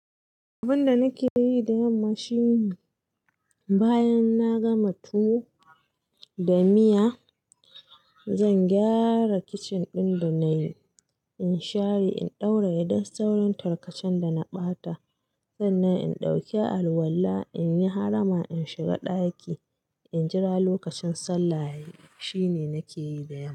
Abun da nake yi da yamma shine bayan na gama tuwo da miya, zan gyara kicin ɗin da na yi, in share, in ɗaura yaɗan saurin tarkacen da na ɓata. Sannan in ɗauki alwala, in yi harama, in shiga ɗaki, in jira lokacin sallah yayi Shi ne nake yi da yamma.